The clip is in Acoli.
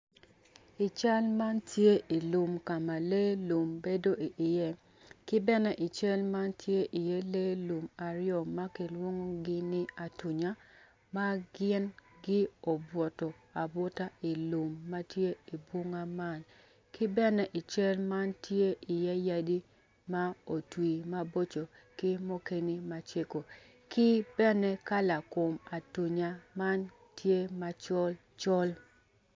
I cal man tye i lum ka ma lee lum bedo iye ki bene i cal man tye iye lee lum aryo ma kilwongogi ni atunya ma gin obutu abuta i lum ma tye i bunga man ki bene i cal man tye i iye yadi ma otwi maboco ki mukene macego ki bene kala kum atunya man tye macol col